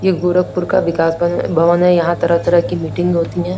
ये गोरखपुर का विकास भवन है यहां तरह-तरह की मीटिंग होती हैं।